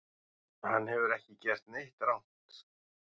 Hann hefur ekki gert neitt rangt